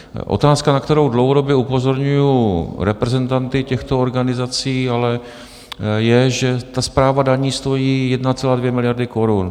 Otázka, na kterou dlouhodobě upozorňuji reprezentanty těchto organizací, ale je, že správa daní stojí 1,2 miliardy korun.